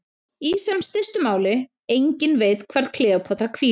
Í sem stystu máli: enginn veit hvar Kleópatra hvílir.